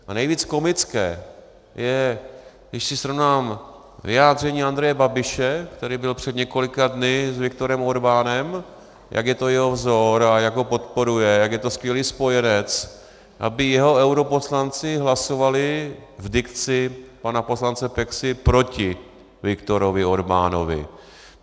A nejvíc komické je, když si srovnám vyjádření Andreje Babiše, který byl před několika dny s Viktorem Orbánem, jak je to jeho vzor a jak ho podporuje, jak je to skvělý spojenec, aby jeho europoslanci hlasovali v dikci pana poslance Peksy proti Viktorovi Orbánovi.